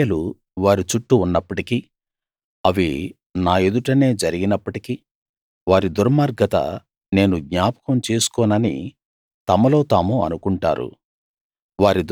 తమ క్రియలు వారి చుట్టూ ఉన్నప్పటికీ అవి నా ఎదుటనే జరిగినప్పటికీ వారి దుర్మార్గత నేను జ్ఞాపకం చేసుకోనని తమలో తాము అనుకుంటారు